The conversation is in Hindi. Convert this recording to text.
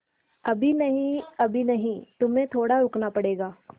अभी नहीं अभी नहीं तुम्हें थोड़ा रुकना पड़ेगा